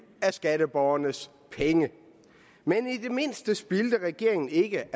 af skatteborgernes penge men i det mindste spildte regeringen ikke